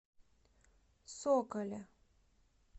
соколе